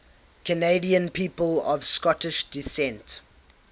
canadian people of scottish descent